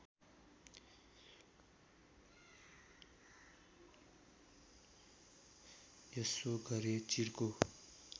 यसो गरे चिर्को